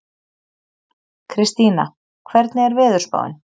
Kristína, hvernig er veðurspáin?